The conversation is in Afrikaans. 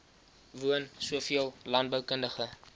woon soveel landboukundige